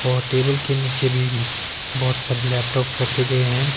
और टेबल के नीचे भी बहोत सारे लैपटॉप रखे गए है।